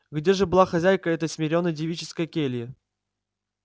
где же была хозяйка этой смиренной девической кельи